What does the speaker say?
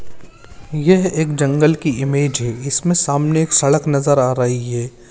यह एक जंगल की इमेज है इसमें सामने एक सड़क नजर आ रही है।